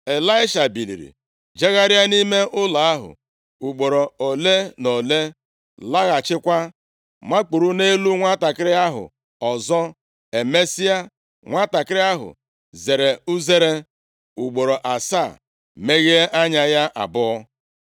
Ịlaisha biliri jegharịa nʼime ụlọ ahụ ugboro ole na ole, laghachikwa makpuru nʼelu nwantakịrị ahụ ọzọ. Emesịa, nwantakịrị ahụ zere uzere ugboro asaa, meghe anya ya abụọ.